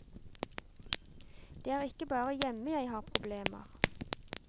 Det er ikke bare hjemme jeg har problemer.